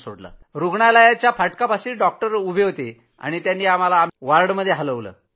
सफदरजंग रूग्णालयात जे फाटकापाशीच डॉक्टर उभे होते त्यांनी आम्हाला आमच्या वॉर्डमध्ये हलवलं